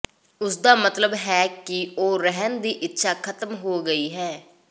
ਉਸਦਾ ਮਤਲਬ ਹੈ ਕਿ ਉਹ ਰਹਿਣ ਦੀ ਇੱਛਾ ਖਤਮ ਹੋ ਗਿਆ ਹੈ